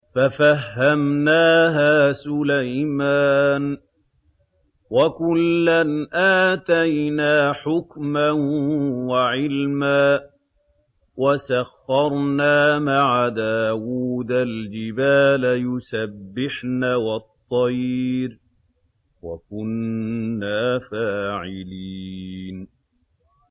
فَفَهَّمْنَاهَا سُلَيْمَانَ ۚ وَكُلًّا آتَيْنَا حُكْمًا وَعِلْمًا ۚ وَسَخَّرْنَا مَعَ دَاوُودَ الْجِبَالَ يُسَبِّحْنَ وَالطَّيْرَ ۚ وَكُنَّا فَاعِلِينَ